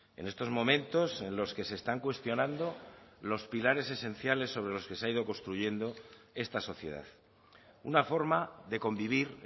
en estos momentos en los que se están cuestionando los pilares esenciales sobre los que se ha ido construyendo esta sociedad una forma de convivir